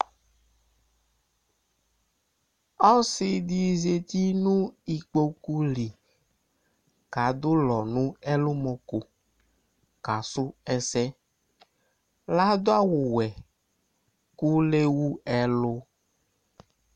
Ɔsɩ ɖɩ zati nʋ iƙpoƙu li, ɔƙa ɖʋ ʋlɔ nʋ ɛlʋmɔƙo,ƙ' asʋ ɛsɛL' aɖʋ awʋ wɛ ƙʋ l' ewu ɛlʋ